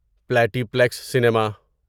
پلٹیپلیکس cinema